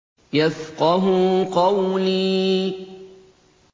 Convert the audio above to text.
يَفْقَهُوا قَوْلِي